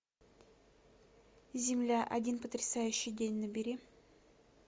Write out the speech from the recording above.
земля один потрясающий день набери